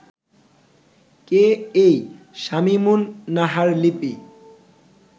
কে এই শামীমুন নাহার লিপি